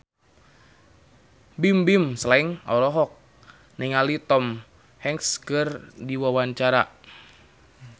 Bimbim Slank olohok ningali Tom Hanks keur diwawancara